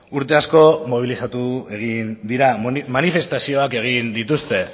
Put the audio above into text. urte asko mobilizatu egin dira manifestazioak egin dituzte